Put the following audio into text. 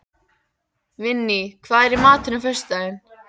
Vinný, hvað er í matinn á föstudaginn?